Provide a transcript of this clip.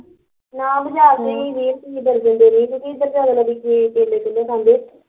ਨਾ ਬਜ਼ਾਰ ਤੋਂ ਈ ਵੀਹ ਰੁਪਈਏ ਦਰਜਨ ਦਿੰਦੇ ਰਹੇ ਕਿਉਕਿ ਏਦਰ ਜਿਆਦਾ ਲੋਕੀਂ ਕੇਲੇ ਕੂਲੇ ਖਾਂਦੇ